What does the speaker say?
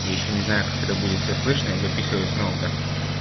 ещё не знаю как это будет все слышно я записываю с ноута